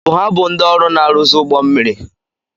Ọ bụ ha bụ ndị ọrụ na-arụzi ụgbọ mmiri?